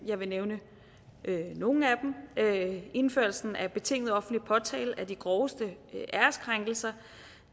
jeg vil nævne nogle af dem indførelsen af betinget offentlig påtale af de groveste æreskrænkelser